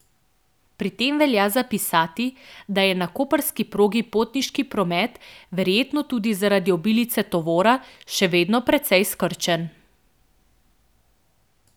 Pri tem velja zapisati, da je na koprski progi potniški promet, verjetno tudi zaradi obilice tovora, še vedno precej skrčen.